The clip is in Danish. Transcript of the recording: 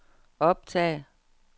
optag